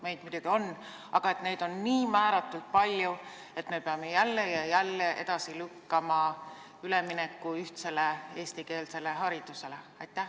Neid muidugi on, aga kas neid on nii määratult palju, et me peame jälle ja jälle edasi lükkama ülemineku ühtsele eestikeelsele haridusele?